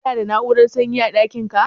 Ka na da na'urar sanyi a ɗakin ka?